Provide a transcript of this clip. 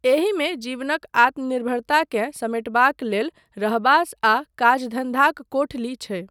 एहिमे जीवनक आत्मनिर्भरताकेँ समेटबाक लेल रहबास आ काजधन्धाक कोठली छै।